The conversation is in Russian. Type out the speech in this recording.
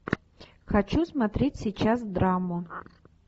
хочу смотреть сейчас драму